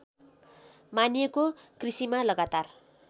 मानिएको कृषिमा लगातार